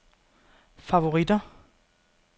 favoritter